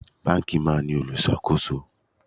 Báńkì máa ń ní olùṣàkóso.